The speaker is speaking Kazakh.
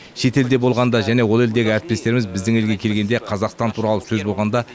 шетелде болғанда және ол елдегі әріптестеріміз біздің елге келгенде қазақстан туралы сөз болғанда